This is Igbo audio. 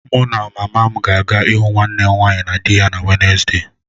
Mụ na mama m ga-aga ịhụ nwanne m nwaanyị na di ya na Wednesde.